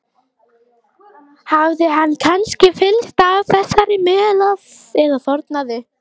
Hafði hann kannski fyllst af þessari möl eða þornað upp?